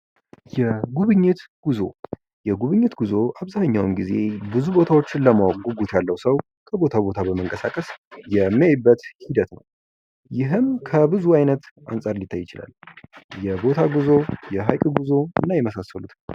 የጉብኝት ጉዞ፦ የጉብኝት ጉዞ አብዛኛውንጊዜ ብዙ ቦታዎችን ለማወቅ ጉጉት ያለው ሰው ከቦታ ቦታ በመንቀሳቀስ የሚያይበት ሂደት ነው ። ይህም ከብዙ አይነት አንጻር ሊታይ ይችላል ። የቦታ ጉዞ ፣ የሃይቅ ጉዞ የመሳሰሉት